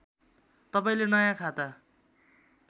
तपाईँले नयाँ खाता